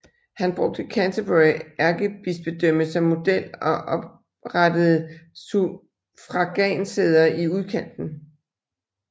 Han brugte Canterbury ærkebispedømme som model og oprettede suffragansæder i udkanten